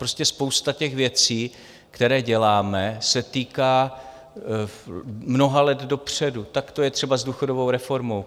Prostě spousta těch věcí, které děláme, se týká mnoha let dopředu, tak to je třeba s důchodovou reformou.